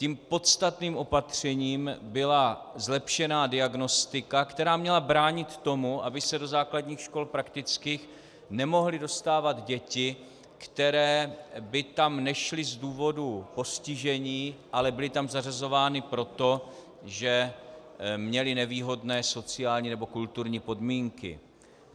Tím podstatným opatřením byla zlepšená diagnostika, která měla bránit tomu, aby se do základních škol prakticky nemohly dostávat děti, které by tam nešly z důvodu postižení, ale byly tam zařazovány proto, že měly nevýhodné sociální nebo kulturní podmínky.